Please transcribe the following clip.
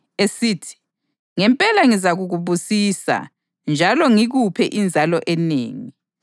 esithi, “Ngempela ngizakubusisa njalo ngikuphe inzalo enengi.” + 6.14 UGenesisi 22.17